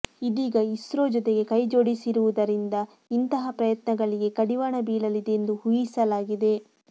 ಇದೀಗ ಇಸ್ರೋ ಜೊತೆಗೆ ಕೈಜೋಡಿಸಿರುವುದರಿಂದ ಇಂತಹ ಪ್ರಯತ್ನಗಳಿಗೆ ಕಡಿವಾಣ ಬೀಳಲಿದೆ ಎಂದು ಊಹಿಸಲಾಗಿದೆ